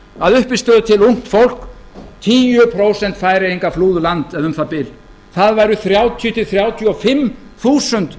að uppistöðu til ungt fólk tíu prósent færeyinga flúðu land eða um það bil það væru þrjátíu til þrjátíu og fimm þúsund